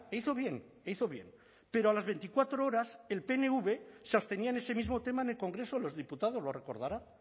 hizo bien hizo bien pero a las veinticuatro horas el pnv se abstenía en ese mismo tema en el congreso de los diputados lo recordará